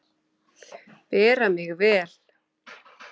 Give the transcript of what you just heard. Bera mig vel?